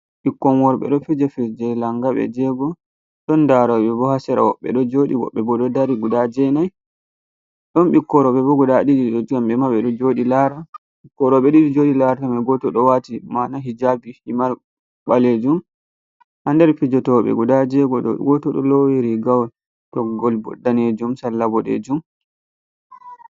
Ɓikkon worɓɓe ɗo fija fijirde langa ɓe jego, ɗon ndaroɓe bo ha sera, woɓɓe ɗo joɗi woɓɓe bo ɗo dari guda jenai, ɗon ɓikkon roɓɓe bo guda ɗiɗi kamɓe ma ɓe ɗo ɗo joɗi lara, ɓikkoi roɓɓe ɗiɗi joɗi larata mai goto ɗo wati mana hijabi himar ɓalejum, ha nder fijotoɓe guda jego ɗo goto ɗo lowi rigawol toggol bo danejum, salla boɗejum.